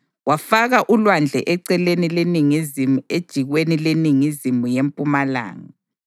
Wafaka uLwandle eceleni leningizimu ejikweni leningizimu yempumalanga.